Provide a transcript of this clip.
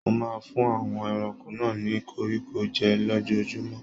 Mo máa n fún àwọn ẹranko náà ni koríko jẹ lójoojúmọ́.